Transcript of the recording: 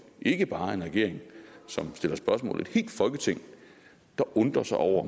ikke bare en regering som stiller spørgsmål men et helt folketing der undrer sig over